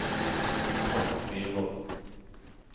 Tomas Myrvold